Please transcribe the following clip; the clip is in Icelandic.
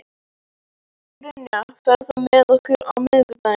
Binna, ferð þú með okkur á miðvikudaginn?